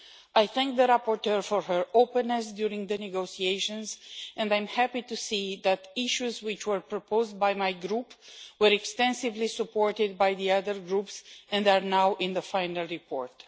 I thank the rapporteur for her openness during the negotiations and I am happy to see that issues which were proposed by my group were extensively supported by the other groups and are now in the final report.